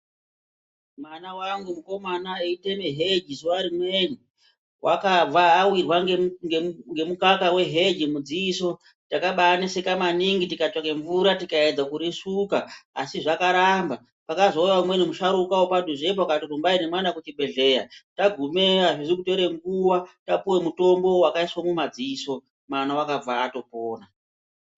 Mwana vangu mukomana eiteme heji zuva rimweni vakabva avirwa ngemukaka veheji mudziso takabaneseka maningi tikatsvake mvura tikaedza kurisuka asi zvakaramba. Pakazouya umweni musharuka vepadhuzepo akati rumbi nemwana kuchibhedhleya. Tagumeyo hazvizi kutore nguva tapuve mutombo vakaiswe mumadziso mwana vakabva atopona.